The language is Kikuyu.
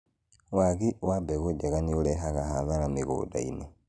waagi wa mbegũ njega nĩ ũrehaga hathara mũgũnda-inĩ